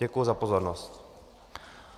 Děkuji za pozornost.